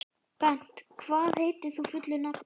Bent, hvað heitir þú fullu nafni?